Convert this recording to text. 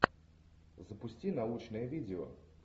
запусти научное видео